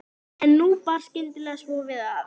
Það er verulega grynnra en undir Kröflu.